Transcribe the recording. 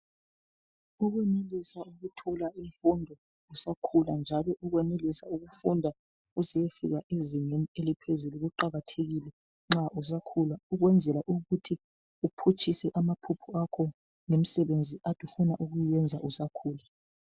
Ukwenelisa ukuthola imfundo usakhula njalo ukwenelisa ukufunda uze uyefika ezingeni eliphezulu kuqakathekile nxa usakhula. Ukwenzeoa ukuthi uphutshise amaphupho akho. Ngemsebenzi okade ufuna ukuyenza usakhula.